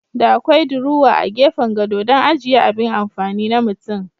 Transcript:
Da akwai diruwa a gefen gado dan ajiya abin amfani na mutum.